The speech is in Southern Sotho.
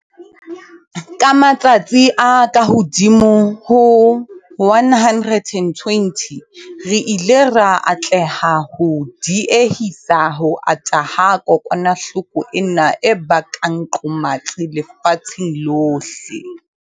Ka matsatsi a kahodimo ho 120, re ile ra atleha ho die-hisa ho ata ha kokwanahloko ena e bakang qomatsi lefatsheng lohle.